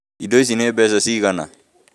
Indo ici nĩ mbeca cigana